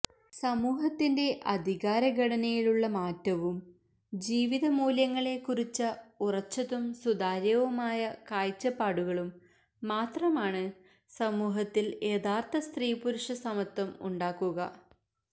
സമൂഹത്തിന്റെ അധികാര ഘടനയിലുള്ള മാറ്റവും ജീവിത മൂല്യങ്ങളെക്കുറിച്ച ഉറച്ചതും സുതാര്യവുമായ കാഴ്ചപ്പാടുകളും മാത്രമാണ് സമൂഹത്തിൽ യഥാർഥ സ്ത്രീപുരുഷ സമത്വം ഉണ്ടാക്കുക